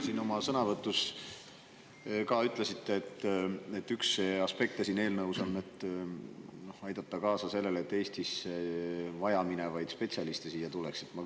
Te oma sõnavõtus ütlesite, et üks aspekte siin eelnõus on aidata kaasa sellele, et Eestis vaja minevaid spetsialiste siia tuleks.